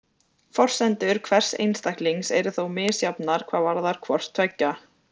Forsendur hvers einstaklings eru þó misjafnar hvað varðar hvort tveggja.